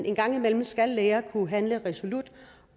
en gang imellem skal læger kunne handle resolut